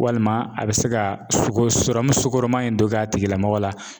Walima a bi se ka sukoroman in dɔ k'a tigilamɔgɔ la